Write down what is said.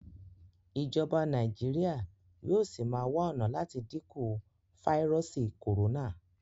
Ìjọba Nàìjíríà yóò sí má wá ọnà láti dínkù fáírọọsì corona.